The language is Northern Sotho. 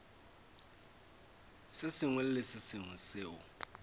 sengwe le se sengwe seo